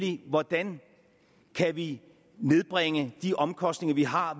det hvordan kan vi nedbringe de omkostninger vi har